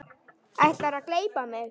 Ætlarðu að gleypa mig!